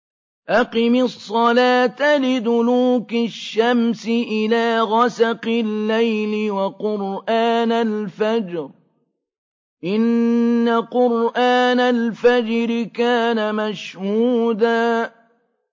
أَقِمِ الصَّلَاةَ لِدُلُوكِ الشَّمْسِ إِلَىٰ غَسَقِ اللَّيْلِ وَقُرْآنَ الْفَجْرِ ۖ إِنَّ قُرْآنَ الْفَجْرِ كَانَ مَشْهُودًا